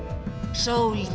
sól